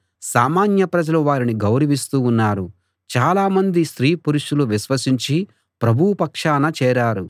సామాన్య ప్రజలు వారిని గౌరవిస్తూ ఉన్నారు చాలా మంది స్త్రీ పురుషులు విశ్వసించి ప్రభువు పక్షాన చేరారు